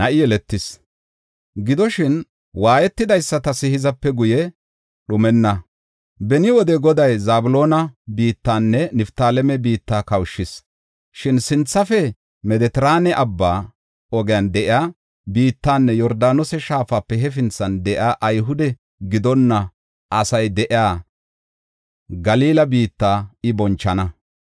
Gidoshin, waayetidaysatas hizape guye dhumenna. Beni wode Goday Zabloona biittanne Niftaaleme biitta kawushis. Shin sinthafe Medetiraane Abbaa ogiyan de7iya biittanne Yordaanose shaafape hefinthan de7iya Ayhude gidonna asay de7iya Galila biitta I bonchana.